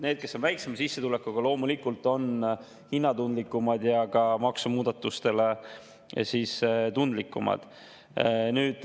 Need, kes on väiksema sissetulekuga, on loomulikult hinnatundlikumad ja ka maksumuudatuste suhtes tundlikumad.